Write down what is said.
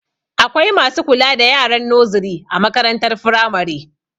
Akwai masu kula da yaran noziri a makarantar firamare